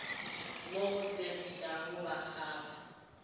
mo go segišago ba kgapha